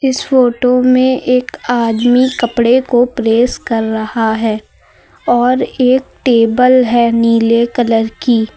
इस फोटो में एक आदमी कपड़े को प्रेस कर रहा है और एक टेबल है नीले कलर की --